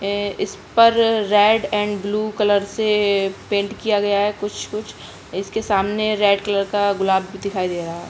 ए इस पर red and blue colour से पैंट किया गया है कुछ-कुछ इसके सामने रेड कलर का गुलाब भी दिखाई दे रहा है।